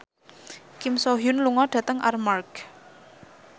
Kim So Hyun lunga dhateng Armargh